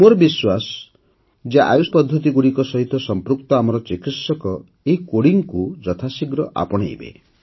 ମୋର ବିଶ୍ୱାସ ଯେ ଆୟୁଷ ପଦ୍ଧତିଗୁଡ଼ିକ ସହିତ ସଂପୃକ୍ତ ଆମର ଚିକିତ୍ସକ ଏହି କୋଡିଂକୁ ଯଥାଶୀଘ୍ର ଆପଣାଇବେ